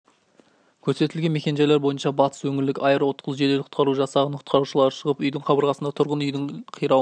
көрсетілген мекен-жайлар бойынша батыс өңірлік аэроұтқыр жедел құтқару жасағының құтқарушылары шығып үйдің қабырғасында тұрғын үйлердің қирауына